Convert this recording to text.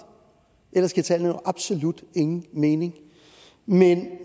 ellers giver tallene absolut ingen mening